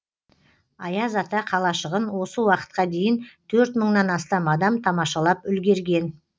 аяз ата қалашығын осы уақытқа дейін төрт мыңнан астам адам тамашалап үлгерген